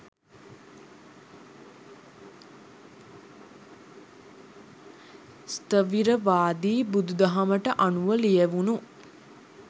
ස්ථවීරවාදී බුදු දහමට අනුව ලියැවුණු